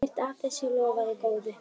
Ekkert af þessu lofaði góðu.